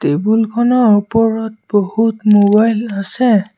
Table খনৰ ওপৰত বহুত মোবাইল আছে।